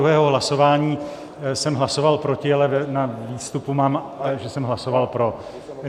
U 22. hlasování jsem hlasoval proti, ale na výstupu mám, že jsem hlasoval pro.